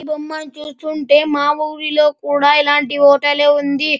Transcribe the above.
ఈ బొమ్మ ని చూస్తుంటే మా ఊరి లో కూడా ఇలాంటి హోటల్ ఏ ఉంది.